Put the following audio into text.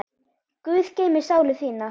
Guð geymi sálu þína.